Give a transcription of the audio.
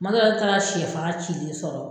Tuma dɔ la ne taala sɛfan cilen sɔrɔ!